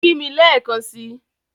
Kí mì lẹ̀ekàn sí!